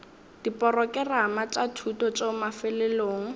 diporokerama tša thuto tšeo mafelelong